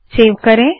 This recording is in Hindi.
सेव करे